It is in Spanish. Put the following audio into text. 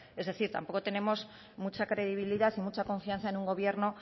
es decir tampoco tenemos mucha credibilidad y mucha confianza en un gobierno